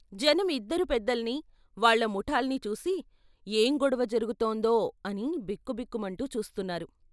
జనం ఇద్దరు పెద్దల్ని, వాళ్ళ ముఠాల్ని చూసి ఏం గొడవ జరుగుతుందో అని బిక్కు బిక్కుమంటూ చూస్తున్నారు.